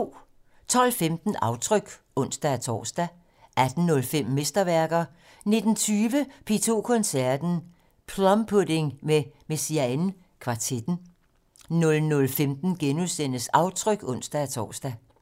12:15: Aftryk (ons-tor) 18:05: Mesterværker 19:20: P2 Koncerten - Plum Pudding med Messiaen kvartetten 00:15: Aftryk *(ons-tor)